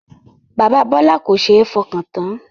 Bàbá Bọlá kò ṣe é fọkàn tán